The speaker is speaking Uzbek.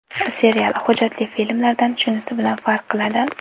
Serial, hujjatli filmlardan shunisi bilan farq qiladi.